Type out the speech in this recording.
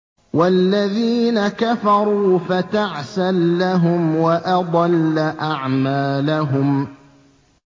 وَالَّذِينَ كَفَرُوا فَتَعْسًا لَّهُمْ وَأَضَلَّ أَعْمَالَهُمْ